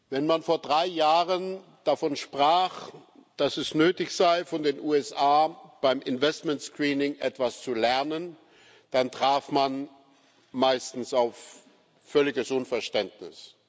Wenn man vor drei Jahren davon sprach, dass es nötig sei, von den USA beim Investment Screening etwas zu lernen, dann traf man meistens auf völliges Unverständnis.